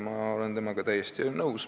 Ma olen temaga täiesti nõus.